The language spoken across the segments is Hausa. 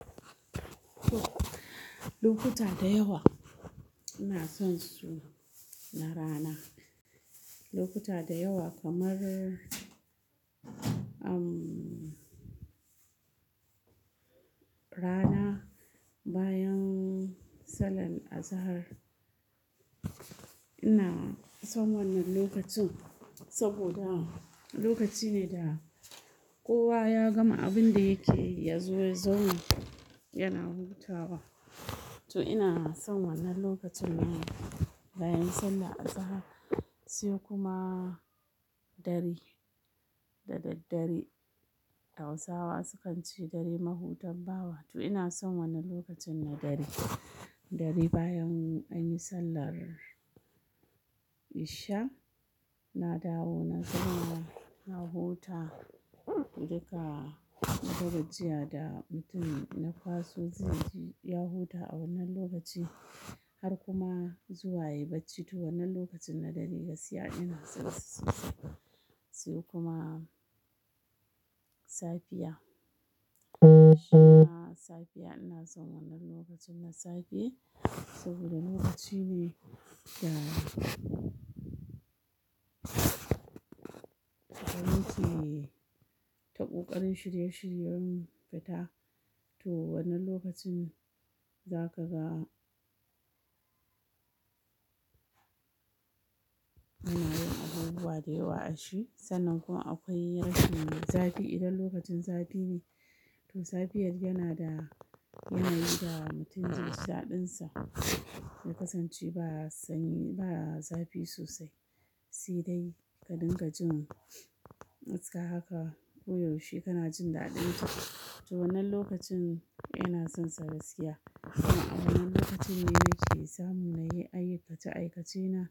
To, lokuta da yawa ina son su na rana. Lokuta da yawa kamar, um, rana bayan sallar azahar. Ina son wannan lokacin saboda lokaci ne da kowa ya gama abin da yake ya zo ya zauna yana huta wa. To ina son wannan lokacin nan bayan sallar azahar. Sai kuma dare da daddare. Hausawa sukan ce dare mahutar bawa. To ina son wannan lokacin na dari. Dare bayan anyi sallar isha. Na dawo na zauna na huta duka akwai gajiya da mutum na kwaso zai ji ya huta a wannan lokaci har kuma zuwa yayi bacci. To wannan lokacin na dare gaskiya ina son sa sosai. Siya kuma safiya. Shima safiya ina son wannan lokacin na safe saboda lokaci ne yana, yana ci ta ƙoƙarin shirye shiryen fata. To wannan lokacin za kaga muna yin abubuwa da yawa a shi sannan kuma akwai rashin na zafi idan lokacin zafi ne. To safiyar yana da, yana yi da mutum zai ji daɗinsa ya kasance ba sanyi ba zafi sosai. Si dai ka dinga jin matska haka koyaushe kana jin daɗin ta. To wannan lokacin ina son sa gaskiya. To a wannan lokacin ne nake samu na yi ayyuka ta aikace na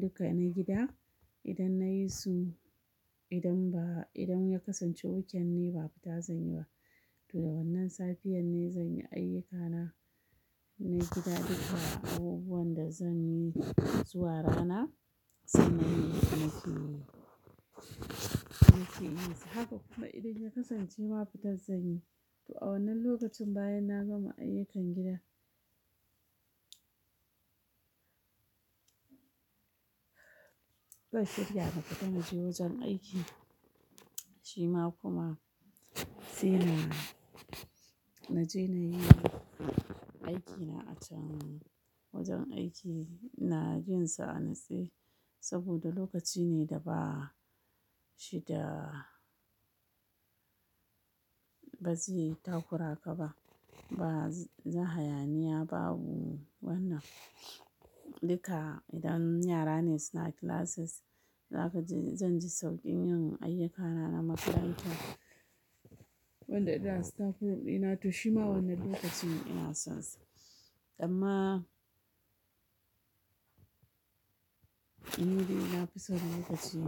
duka na gida idan na yi su idan ba idan ya kasance wuken ne babu ta zan yi ba. To da wannan safiyar ne zan yi ayyukana na gida duka abubuwan da zan yi zuwa rana sannan ni in ci, in ci inusa. Haka kuma idan ya kasance babu ta zan yi. To a wannan lokacin bayan na gama ayyukan gida. Zan shirya na fita na je wajen aiki. Shima kuma sai na, na je na yi aikina a can wajen aiki na jin sa'an natsi saboda lokaci ne da ba shi da ba zai takura ka ba. Ba zai hayaniya babu wannan duka idan yara ne suna classes zaka ji zan ji sauƙin yin ayyukana na makaranta. Wanda idan staff room dina to shima wannan lokacin ina son sa. Amma ni dai na fi son lokaci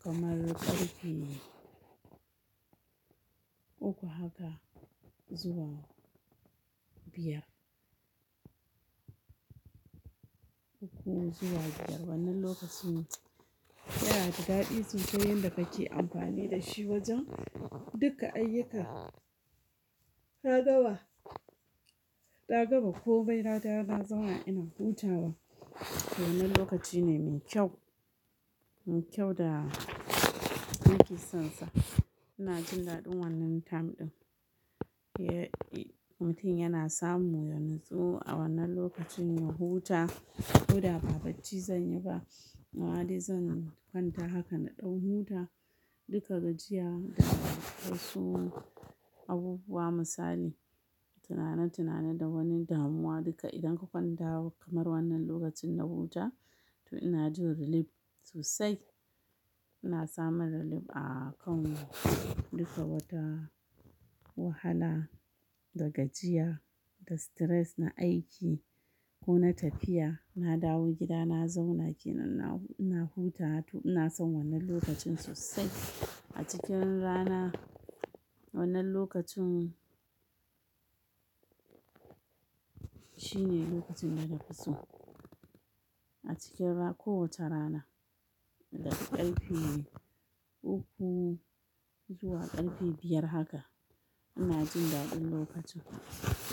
kamar ƙarfe uku haka zuwa biyar. Uku zuwa biyar wannan lokacin yana da daɗi sosai yan da kake amfani da shi wajen duka ayyuka. Na gama, na gama ko mai nadawo na zauna ina hutawa. To wannan lokaci ne mai kyau, mai kyau da nake son sa. Ina jin daɗin wannan time ɗin. Ye, mutum yana samu ya natsu a wannan lokacin ya huta. Kida ba bacci zan yi ba. Amma dai zan kwanta haka na ɗau huta. Duka gajiya da dai su abubuwa misali tunana tunana da wani damuwa duka idan ka kwanta kamar wannan lokacin na huta to ina jin relief sosai. Ina samun relief a kan duka wata wahala da gajiya, da stress na aiki ko na tafiya. Na dawo gida na zauna kenan na, ina huta. To ina son wannan lokacin sosai. A cikin rana wannan lokacin shine lokacin da na fi so. A cikin ra ko wata rana daga ƙarfe uku zuwa ƙarfe biyar haka ina jin daɗin lokacin.